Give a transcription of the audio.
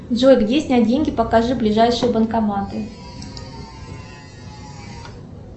джой где снять деньги покажи ближайшие банкоматы